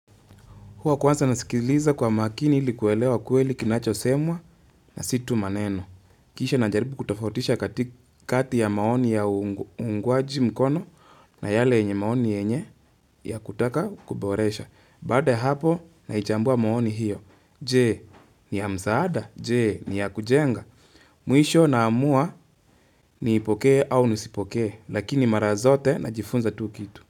Huwa kwanza nasikiliza kwa makini ilikuelewa kweli kinachosemwa na situ maneno. Kisha najaribu kutofautisha kati kati ya maoni ya uungwaji mkono na yale yenye maoni yenye ya kutaka kuboresha. Baada ya hapo naichambua maoni hiyo. Je, ni ya msaada? Je, ni ya kujenga? Mwisho na amua ni ipokee au nisipokee, lakini mara zote na jifunza tu kitu.